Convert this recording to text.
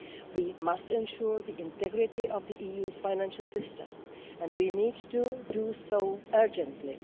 We must ensure the integrity of the EU's financial system and we need to do so urgently.